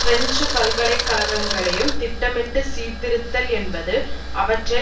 French பல்கலை கழகங்களையும் திட்டமிட்டு சீர்திருத்தல் என்பது அவற்றை